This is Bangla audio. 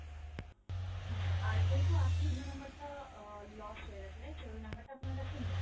হ্যাঁ sir আর যেহেতু আপনি পুরনো number টা আহ lost হয়ে গেছে right sir ওই number টা আপনার কাছে নেই